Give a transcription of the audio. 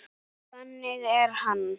Þannig er hann.